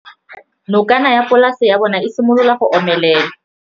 Nokana ya polase ya bona, e simolola go omelela.